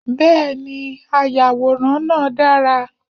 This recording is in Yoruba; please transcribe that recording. Bẹ́ẹ̀ni, ayàwòrán náà dára.